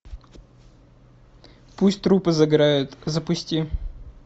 пусть трупы загорают запусти